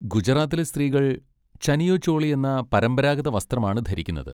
ഗുജറാത്തിലെ സ്ത്രീകൾ ചനിയോ ചോളി എന്ന പരമ്പരാഗത വസ്ത്രമാണ് ധരിക്കുന്നത്.